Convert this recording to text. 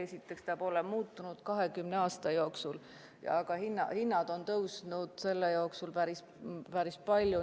Esiteks, see pole muutunud 20 aasta jooksul, aga hinnad on selle aja jooksul tõusnud päris palju.